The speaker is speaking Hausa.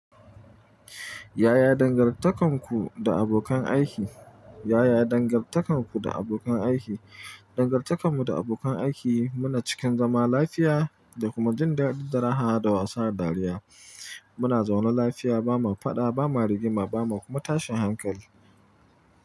Yaya dangantakarku da abokan aiki? Yaya dangantakarku da abokan aiki? Dangantakarmu da abokan aiki muna cikin zama lafiya da kuma jin dadin daraha da wasa da dariya. Muna zaune lafiya, ba ma faɗa, ba ma rigima, ba ma kuma tashin hankali.